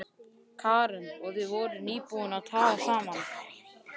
Karen: Og þið voruð nýbúnir að talast saman?